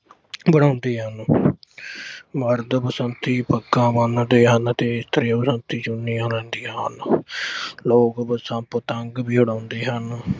ਬਣਾਉਂਦੇ ਹਨ। ਮਰਦ ਬਸੰਤੀ ਪੱਗਾਂ ਬੰਨ੍ਹਦੇ ਹਨ ਤੇ ਇਸਤਰੀਆਂ ਬਸੰਤੀ ਚੁੰਨੀਆਂ ਲੈਂਦੀਆਂ ਹਨ। ਲੋਕ ਬਸੰਤ 'ਤੇ ਪਤੰਗ ਵੀ ਉਡਾਉਂਦੇ ਹਨ।